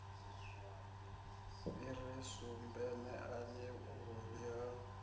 fhiri sumbe neani vhuvhi ha